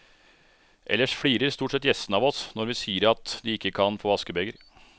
Ellers flirer stort sett gjestene av oss når vi sier at de ikke kan få askebeger.